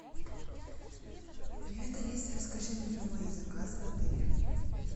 привет алиса расскажи мне про мои заказы в отеле